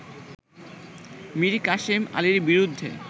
মীর কাসেম আলীর বিরুদ্ধে